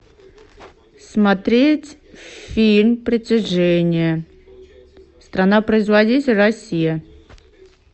смотреть фильм притяжение страна производитель россия